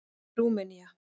Rúmenía